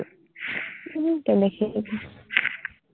উম দেখিলে